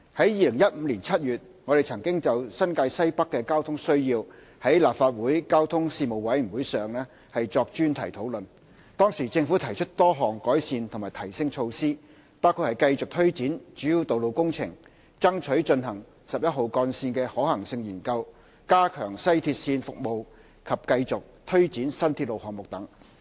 2015年7月，我們曾就新界西北的交通需要在立法會交通事務委員會上作專題討論，當時政府提出多項改善和提升措施，包括繼續推展主要道路工程、爭取進行十一號幹線的可行性研究、加強西鐵線服務及繼續推展新鐵路項目等。